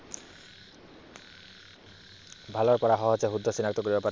ভাৰতৰ পৰা সহজে শুদ্ধ চিনাক্ত কৰিব পাৰি।